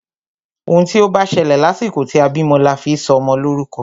Òun tí o bá ṣẹlẹ̀ lásìkò tí a bímọ la fi sọ ọmọ lórúkọ.